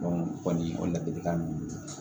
o kɔni o ladilikan ninnu